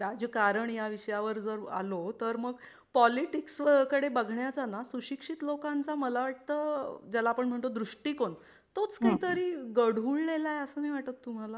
राजकारण या विषयावर जर आलो तर मग पॉलीटिक्सकडे बघण्याचाना सुशिक्षित लोकांचा मला वाटतं ज्याला आपण म्हणतो दृष्टीकोण तोच काही तरी गढूळलेला आहे असं नाही वाटत तुम्हाला?